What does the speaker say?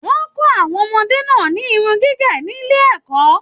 Wọn kọ àwọn ọmọdé náà ni Irun gígé nílé ẹ̀kọ́.